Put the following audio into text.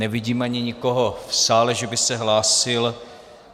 Nevidím ani nikoho v sále, že by se hlásil.